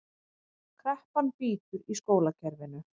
Kreppan bítur í skólakerfinu